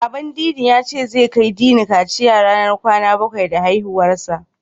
Baban Dini ya ce, zai kai Dini kaciya ranar kwana bakwai da haihuwarsa.